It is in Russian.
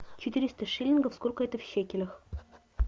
четыреста шиллингов сколько это в шекелях